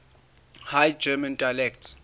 high german dialects